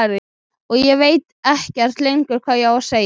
Og ég veit ekkert lengur hvað ég á að segja.